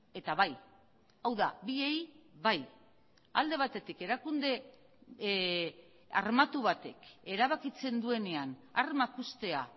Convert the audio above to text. eta bai hau da biei bai alde batetik erakunde armatu batek erabakitzen duenean armak uztea